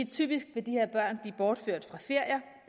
typisk vil de her børn blive bortført fra ferier